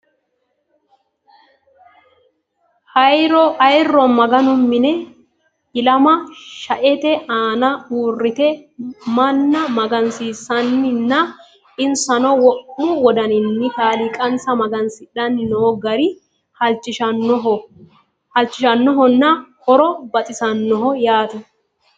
Ayiro maganu mine illama shaette aanna uureitte manna magansiisanni nna insanno wo'mu wodanninni kaliqansa magansidhanni noo gari halichishannoho nna horo baxissannoho yaatte